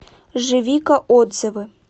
живика отзывы